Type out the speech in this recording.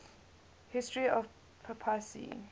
history of the papacy